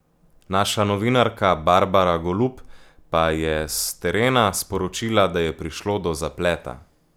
Naša novinarka Barbara Golub pa je s terena sporočila, da je prišlo do zapleta.